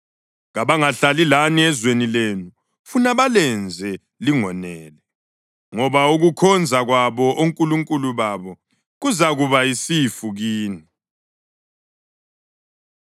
Kabangahlali lani ezweni lenu, funa balenze lingonele, ngoba ukukhonza kwabo onkulunkulu babo kuzakuba yisifu kini.”